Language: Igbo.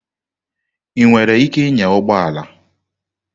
Ị nwere ike ịnya ụgbọ ala?